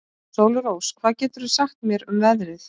Sólrós, hvað geturðu sagt mér um veðrið?